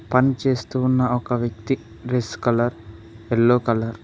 పన్చేస్తూ ఉన్న ఒక వ్యక్తి డ్రెస్ కలర్ ఎల్లో కలర్ .